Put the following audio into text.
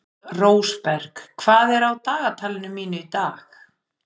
Rósberg, hvað er á dagatalinu mínu í dag?